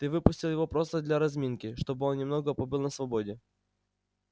ты выпустил его просто для разминки чтобы он немного побыл на свободе